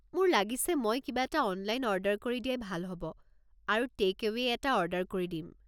মোৰ লাগিছে মই কিবা এটা অনলাইন অৰ্ডাৰ কৰি দিয়াই ভাল হ’ব আৰু টে’ক-এৱে'ই এটা অৰ্ডাৰ কৰি দিম।